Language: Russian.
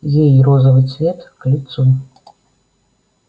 ей розовый цвет к лицу